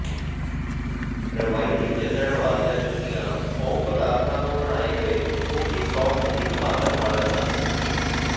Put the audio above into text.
ਰਵਾਇਤੀ ਚੱਲਣ ਵਾਲੀਆਂ ਜੁੱਤੀਆਂ ਫੋਮ ਪਦਾਰਥਾਂ ਤੋਂ ਬਣਾਏ ਗਏ ਮੋਟੀ ਸਾਫਟ ਇਕਮਾਤਰ ਮਾਡਲ ਹਨ